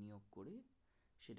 সহজ